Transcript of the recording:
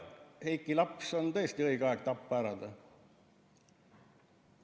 ... ja Heiki laps on tõesti õige aeg ära tappa.